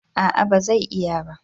A'a ba zai iya ba